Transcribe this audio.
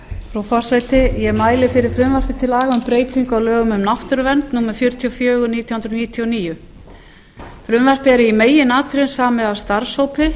frú forseti ég mæli fyrir frumvarpi til laga um breytingu á lögum um náttúruvernd númer fjörutíu og fjögur nítján hundruð níutíu og níu frumvarpið er í meginatriðum samið af starfshópi